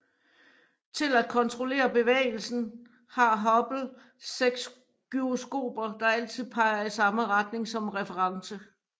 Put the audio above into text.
Til at kontrollere bevægelsen har Hubble seks gyroskoper der altid peger i samme retninger som reference